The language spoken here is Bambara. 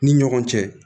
Ni ɲɔgɔn cɛ